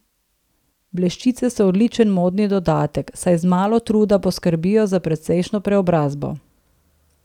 Bleščice so odličen modni dodatek, saj z malo truda poskrbijo za precejšnjo preobrazbo.